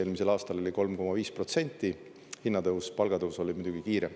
Eelmisel aastal oli 3,5% hinnatõus, palgatõus oli muidugi kiirem.